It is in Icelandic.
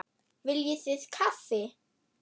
Viljið þið kaffi?